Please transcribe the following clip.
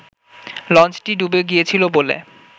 লঞ্চটি ডুবে গিয়েছিল বলে